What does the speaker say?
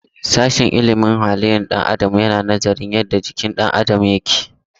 Sashen ilimin halin ɗan adam yana nazarin yadda jikin ɗan adam yake aiki.